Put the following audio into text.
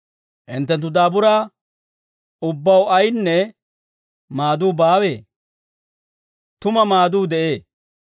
Hinttenttu daaburaa ubbaw ayinne maaduu baawee? Tuma maaduu de'ee.